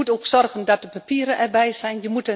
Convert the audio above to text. Je moet ook zorgen dat de papieren erbij zijn.